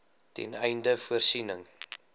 ten einde voorsiening